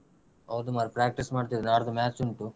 ಹೌದು ಮಾರಾಯ practice ಮಾಡ್ತಿದ್ದೇವೆ ನಾಳ್ದು match ಉಂಟು.